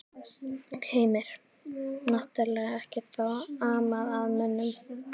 Heimir: Náttúrlega ekkert þá amað að mönnum?